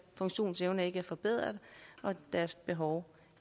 funktionsevne ikke er forbedret og deres behov